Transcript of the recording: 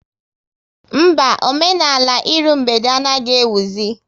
Mba, omenala ịrụ mgbede anaghị ewuzi